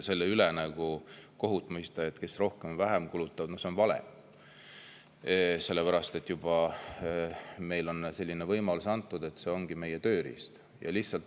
Kellegi üle nii-öelda kohut mõista, sest nad rohkem või vähem kulutavad, on kindlasti vale, sellepärast et meile on juba selline võimalus antud, see ongi meie tööriist.